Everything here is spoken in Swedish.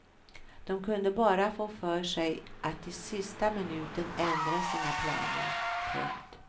De kunde bara få för sig att i sista minuten ändra sina planer. punkt